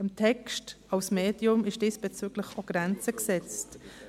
Dem Text als Medium sind diesbezüglich auch Grenzen gesetzt.